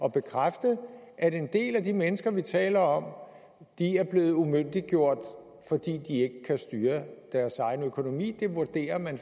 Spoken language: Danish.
at bekræfte at en del af de mennesker vi taler om er blevet umyndiggjort fordi de ikke kan styre deres egen økonomi det vurderer man at